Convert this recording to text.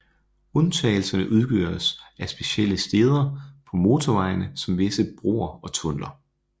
Undtagelserne udgøres af specielle steder på motorvejene som visse broer og tunneller